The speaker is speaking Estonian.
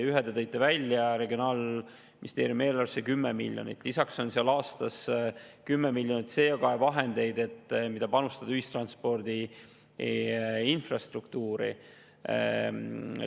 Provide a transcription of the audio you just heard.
Ühe te tõite välja, regionaalministeeriumi eelarves on 10 miljonit, lisaks on aastas 10 miljonit CO2-vahendeid, mida saab panustada ühistranspordi infrastruktuuri.